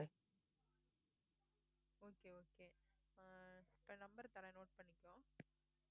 okay okay ஆஹ் இப்ப number தரேன் note பண்ணிக்கோ